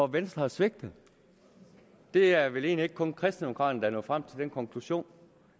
venstre har svigtet det er vel egentlig ikke kun kristendemokraterne nået frem til den konklusion